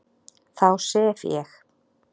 Þá sef ég